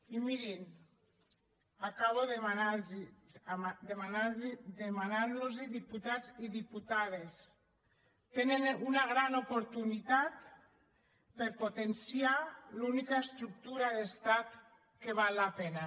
i mirin acabo demanant los diputats i diputades tenen una gran oportunitat per potenciar l’única estructura d’estat que val la pena